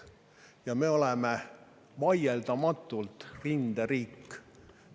Ja me oleme vaieldamatult rinderiik.